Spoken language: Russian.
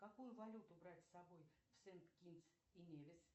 какую валюту брать с собой в сент китс и невис